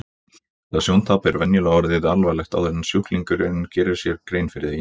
Þetta sjóntap er venjulega orðið alvarlegt áður en sjúklingurinn gerir sér grein fyrir því.